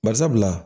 Bari sabula